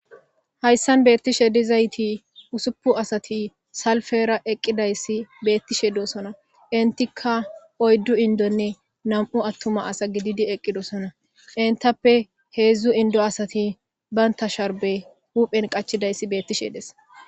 hayssan beettishe dizayti usuppu asati salfera eqqidayssi beettishe dosona intika oyddu indonne nam7u attuma asa gididi eqqidosona intappe heedzdzu indo asati banta sharbe huphen qachidayssi beettishe des